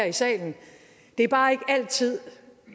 i salen det er bare ikke altid